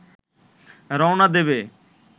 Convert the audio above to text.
রওনা দেবে